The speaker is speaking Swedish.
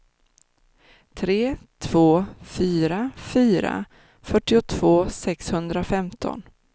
tre två fyra fyra fyrtiotvå sexhundrafemton